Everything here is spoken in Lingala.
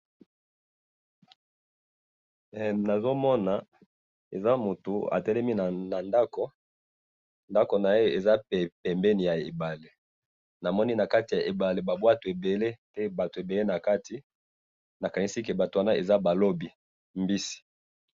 nazo mona , eza mutu atelemi na ndako, ndako naye eza pembeni ya ebale, namoni na kati ya ebale ba bwato ebele pe bato ebele na kati, na kanisi bato wana eza ba lobi mbisi